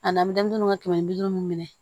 Ani an bɛ denmisɛnninw ka kɛmɛ bi duuru minɛ